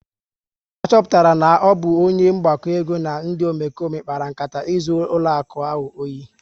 A chọpụtara na ọ bụ onye mgbakọego na ndị Omekome kpara nkata izu ụlọaku ahụ ohi